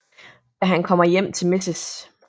Da han kommer hjem til Mrs